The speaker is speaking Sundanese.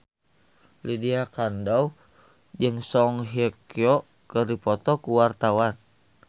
Lydia Kandou jeung Song Hye Kyo keur dipoto ku wartawan